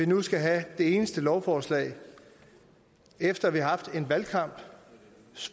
nu skal have det eneste lovforslag efter vi har haft en valgkamp